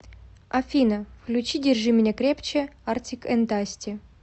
афина включи держи меня крепче артик энд асти